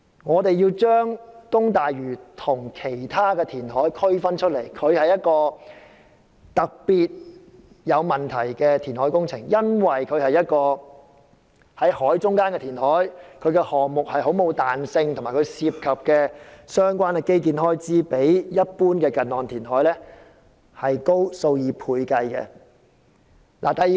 我們要將東大嶼跟其他填海項目分開來看，因為這是一項特別有問題的工程，涉及在海中央進行的填海工程，並無太大彈性，而所涉及的相關基建開支比一般近岸填海高出數倍。